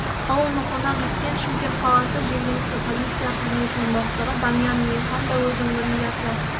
ал оны қонақ еткен шымкент қаласы жергілікті полиция қызметінің бастығы данияр мейірхан да өз өңірінде аса